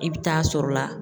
I bɛ taa sɔrɔ la